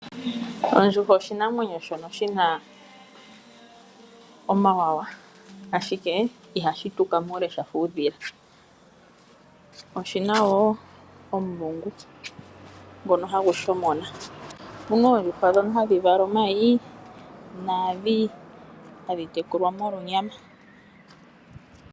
Ondjuhwa oshinamwenyo shono shi na omawawa ashike iha shi tuka muule sha fa uudhila. Oshi na wo omulungu ngono ha gu shomona. Opuna oondjuhwa ndhono ha dhi vala omayi naandhi ha dhi tekulwa molwa onyama.